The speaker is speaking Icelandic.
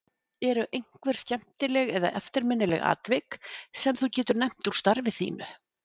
Eru einhver skemmtileg eða eftirminnileg atvik sem þú getur nefnt úr starfi þínu?